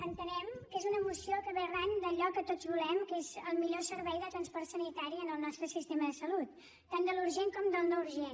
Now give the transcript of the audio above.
entenem que és una moció que ve arran d’allò que tots volem que és el millor servei de transport sanitari en el nostre sistema de salut tant de l’urgent com del no urgent